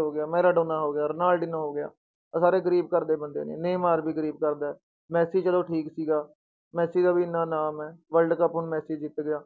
ਹੋ ਗਿਆ, ਮੈਰਾਡੋਨਾ ਹੋ ਗਿਆ, ਰਨਾਲਡਿਨ ਹੋ ਗਿਆ, ਆਹ ਸਾਰੇ ਗ਼ਰੀਬ ਘਰਦੇ ਬੰਦੇ ਨੇ ਗ਼ਰੀਬ ਘਰਦਾ ਹੈ, ਮੈਸੀ ਚਲੋ ਠੀਕ ਸੀਗਾ, ਮੈਸੀ ਦਾ ਵੀ ਇੰਨਾ ਨਾਮ ਹੈ world ਕੱਪ ਹੁਣ ਮੈਸੀ ਜਿੱਤ ਗਿਆ।